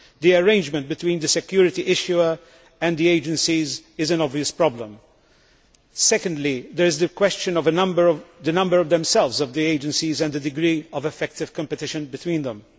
The arrangement between the security issuer and the agencies is an obvious problem. Secondly, there is the question of the number of agencies themselves and the degree of effective competition between them.